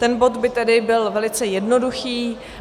Ten bod by tedy byl velice jednoduchý.